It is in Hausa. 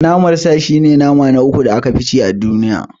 Naman sa shi ne nama na uku da aka fi ci a duniya.